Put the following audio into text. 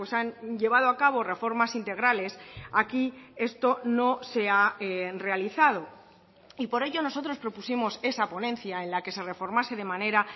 han llevado a cabo reformas integrales aquí esto no se ha realizado y por ello nosotros propusimos esa ponencia en la que se reformase de manera